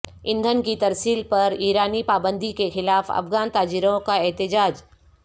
ایندھن کی ترسیل پر ایرانی پابندی کے خلاف افغان تاجروں کا احتجاج